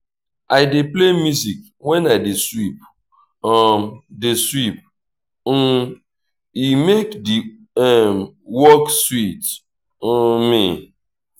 i dey play music when i dey sweep um dey sweep um e make the um work sweet um me.